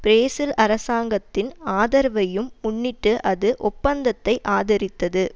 Brazil அரசாங்கத்தின் ஆதரவையும் முன்னிட்டு அது ஒப்பந்தத்தை ஆதரித்தது